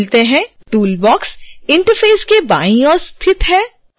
tool box interface के बाईं ओर स्थित है